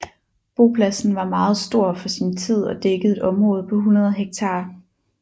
Bopladsen var meget stor for sin tid og dækkede et område på 100 hektar